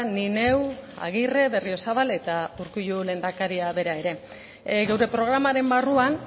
ni neu agirre berriozabal eta urkullu lehendakaria bera ere gure programaren barruan